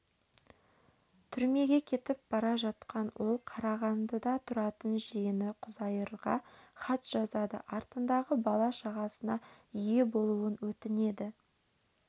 түрмеге кетіп бара жатқан ол қарағандыда тұратын жиені құзайырға хат жазады артындағы бала-шағасына ие болуын өтінеді